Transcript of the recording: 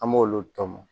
An b'olu tɔmɔ